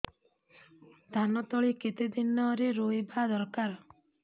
ଧାନ ତଳି କେତେ ଦିନରେ ରୋଈବା ଦରକାର